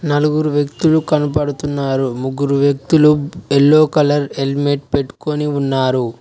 నలుగురు వ్యక్తులు కనపడుతున్నారు ముగ్గురు వ్యక్తులు యెల్లో కలర్ హెల్మెట్ పెట్కొని ఉన్నారు.